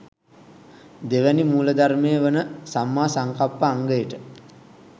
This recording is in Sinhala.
දෙවැනි මූලධර්මය වන සම්මා සංකප්ප අංගයට